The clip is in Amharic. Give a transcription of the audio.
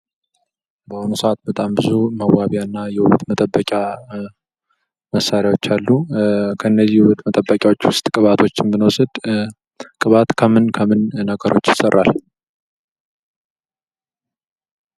በአሁኑ ሰዓት ብዙ መዋቢያና የውበት መጠበቂያ መሳሪያ አሉ ከነዚህ የውበት መጠበቂ መሳሪያዎች ውስጥ ቅባቶችን ብንዋስድ ከምንከምን ገሮች ይሰራል?